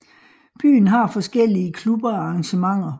Byen har forskellige klubber og arrangementer